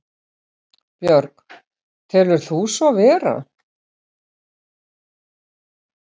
Björg: Telur þú svo vera?